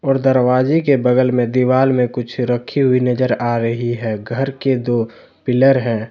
और दरवाजे के बगल मे दीवाल में कुछ रखी हुई नजर आ रही है घर के दो पिलर हैं।